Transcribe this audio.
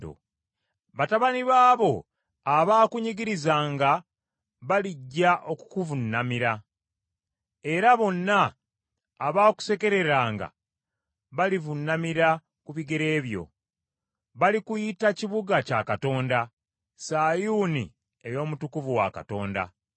Batabani baabo abaakunyigirizanga balijja okukuvuunamira; era bonna abaakusekereranga balivuunamira ku bigere byo. Balikuyita kibuga kya Katonda, Sayuuni ey’Omutukuvu wa Katonda.